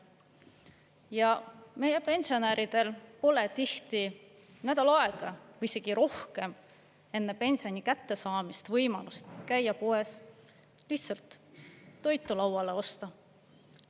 Ja meie pensionäridel pole tihti nädal aega või isegi rohkem enne pensioni kättesaamist võimalust käia poes, lihtsalt toitu lauale osta.